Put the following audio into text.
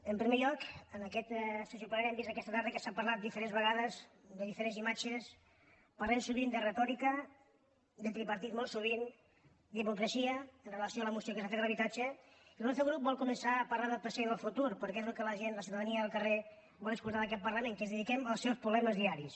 en primer lloc en aquesta sessió plenària hem vist aquesta tarda que s’ha parlat diferents vegades de di·ferents imatges parlem sovint de retòrica de tripartit molt sovint d’hipocresia amb relació a la moció que s’ha fet de l’habitatge i el nostre grup vol començar a parlar del present i del futur perquè és el que la gent la ciutadania del carrer vol escoltar d’aquest parla·ment que ens dediquem als seus problemes diaris